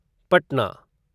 Patna